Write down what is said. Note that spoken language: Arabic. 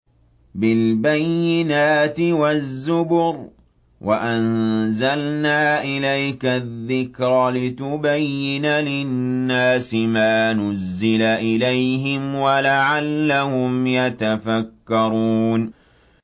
بِالْبَيِّنَاتِ وَالزُّبُرِ ۗ وَأَنزَلْنَا إِلَيْكَ الذِّكْرَ لِتُبَيِّنَ لِلنَّاسِ مَا نُزِّلَ إِلَيْهِمْ وَلَعَلَّهُمْ يَتَفَكَّرُونَ